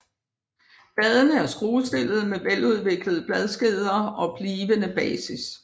Bladene er skruestillede med veludviklede bladskeder og blivende basis